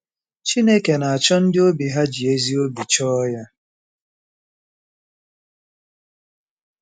Chineke na-achọ ndị obi ha ji ezi obi chọọ Ya.